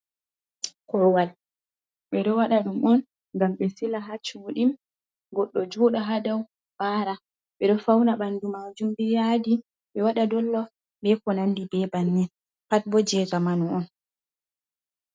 Korowal ɓe do wada ɗum on ngam be sila ha suɗin goddo juda ha dow bara ɓe do fauna ɓandu majum biiyadi ɓe wada dollof be ko nandi be bannin pat bo je jamanu on.